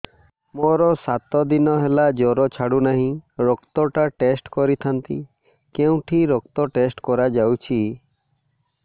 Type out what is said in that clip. ମୋରୋ ସାତ ଦିନ ହେଲା ଜ୍ଵର ଛାଡୁନାହିଁ ରକ୍ତ ଟା ଟେଷ୍ଟ କରିଥାନ୍ତି କେଉଁଠି ରକ୍ତ ଟେଷ୍ଟ କରା ଯାଉଛି